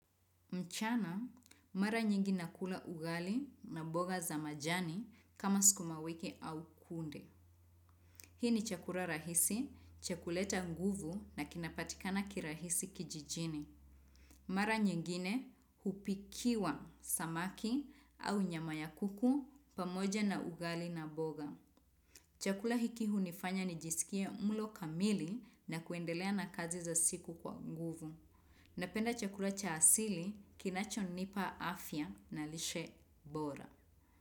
Mchana, mara nyingi nakula ugali na mboga za majani kama sukuma wiki au kunde. Hii ni chakula rahisi, cha kuleta nguvu na kinapatikana kirahisi kijijini. Mara nyingine, hupikiwa samaki au nyama ya kuku pamoja na ugali na mboga. Chakula hiki hunifanya nijisikie mlo kamili na kuendelea na kazi za siku kwa nguvu. Napenda chakula cha asili kinachonipa afya na lishe bora.